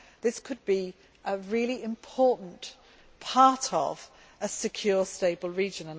This could be a really important part of a secure, stable region.